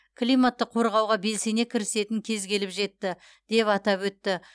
климатты қорғауға белсене кірісетін кез келіп жетті деп атап өтті